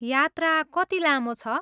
यात्रा कति लामो छ?